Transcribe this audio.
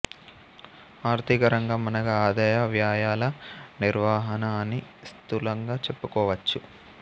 ఆర్థిక రంగం అనగా ఆదాయ వ్యయాల నిర్వహణ అని స్థూలంగా చెప్పుకోవచ్చు